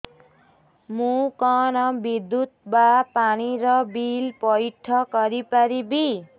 ମୁ କଣ ବିଦ୍ୟୁତ ବା ପାଣି ର ବିଲ ପଇଠ କରି ପାରିବି